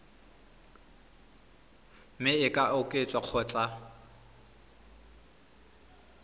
mme e ka oketswa kgotsa